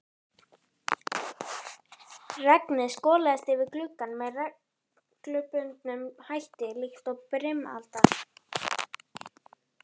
Regnið skolaðist yfir gluggann með reglubundnum hætti líkt og brimalda.